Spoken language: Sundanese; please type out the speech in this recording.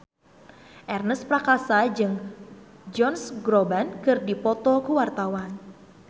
Ernest Prakasa jeung Josh Groban keur dipoto ku wartawan